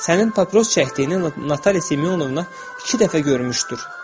Sənin papiros çəkdiyini Natalya Simyonovna iki dəfə görmüşdür.